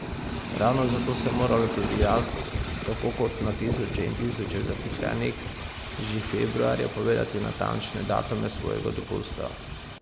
Ravno zato sem morala tudi jaz, tako kot na tisoče in tisoče zaposlenih, že februarja povedati natančne datume svojega dopusta.